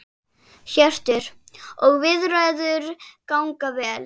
Hjörtur: Og viðræður ganga vel?